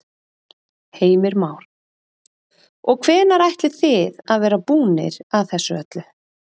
Heimir Már: Og hvenær ætlið þið að vera búnir að þessu öllu?